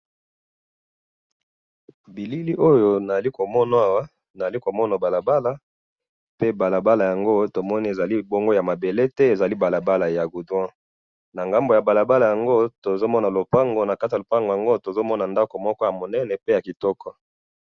na bilili oyo nazali komona awa, nazali komona balabala, pe balabala yango tomoni ezali bongo ya mabele te, ezali balabala ya goudron, na ngambo ya balabala yango tozomona lupango, nakati ya lupango yango, tozomona ndako moko ya munene, pe ya kitoko